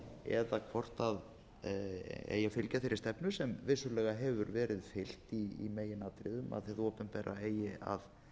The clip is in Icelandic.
fjármálafyrirtækjum eða hvort fylgja eigi þeirri stefnu sem vissulega hefur verið fylgt í meginatriðum að hið opinbera eigi að